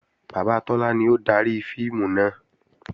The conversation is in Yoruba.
Bàbá Tọ́lá ni ó dari fíìmù náà